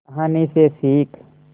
कहानी से सीख